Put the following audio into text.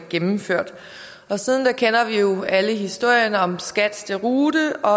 gennemført siden kender vi jo alle historierne om skats deroute og